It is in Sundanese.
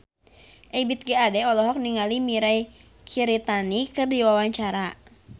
Ebith G. Ade olohok ningali Mirei Kiritani keur diwawancara